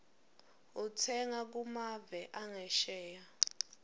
utsenga kumave angesheya